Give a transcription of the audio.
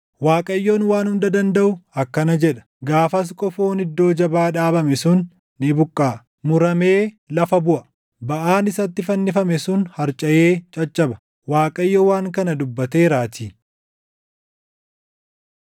Waaqayyoon Waan Hunda Dandaʼu akkana jedha; “Gaafas qofoon iddoo jabaa dhaabame sun ni buqqaʼa; muramee lafa buʼa; baʼaan isatti fannifame sun harcaʼee caccaba.” Waaqayyo waan kana dubbateeraatii.